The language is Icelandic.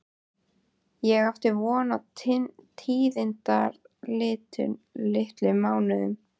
Ég átti von á tíðindalitlum mánuðum.